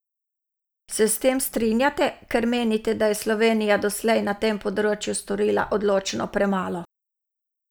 Se s tem strinjate, ker menite, da je Slovenija doslej na tem področju storila odločno premalo?